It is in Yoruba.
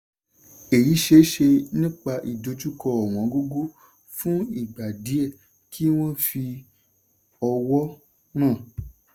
èyí ṣeéṣe nípa ìdojúkọ ọ̀wọ́ngógó fún ìgà díẹ̀ kí wọ́n fi owó ràn.